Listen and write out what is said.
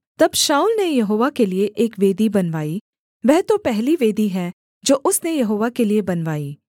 तब शाऊल ने यहोवा के लिये एक वेदी बनवाई वह तो पहली वेदी है जो उसने यहोवा के लिये बनवाई